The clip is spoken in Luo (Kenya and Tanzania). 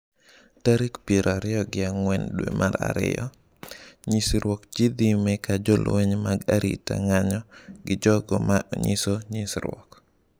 Tarik piero ariyo gi ang'wen dwe mar ariyo - Nyisruok dhi nyime ka jolweny mag arita ng’anjo gi jogo ma nyiso nyisruok.